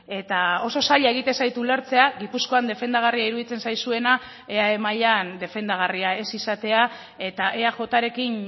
eta oso zaila egiten zait ulertzea gipuzkoan defendagarria iruditzen zaizuena eae mailan defendagarria ez izatea eta eajrekin